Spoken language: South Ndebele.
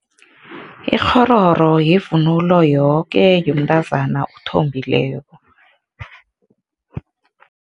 Ikghororo yivunulo yoke, yomntazana othombileko.